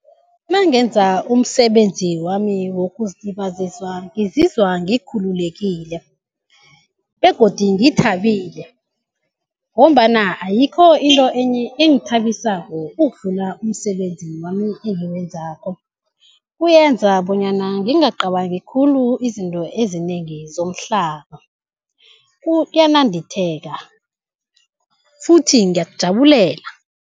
Nangenza umsebenzi wami wokuzilibazisa ngizizwa ngikhululekile begodu ngithabile ngombana ayikho into enye engithabisako ukudlula umsebenzi wami engiwenzako. Kuyenza bonyana ngingacabangi khulu izinto ezinengi zomhlaba uyanandipheka futhi ngiyakujabulela.